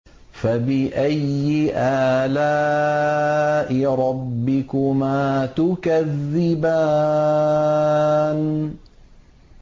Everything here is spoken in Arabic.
فَبِأَيِّ آلَاءِ رَبِّكُمَا تُكَذِّبَانِ